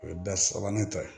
O ye bɛɛ sabanan tɔ ye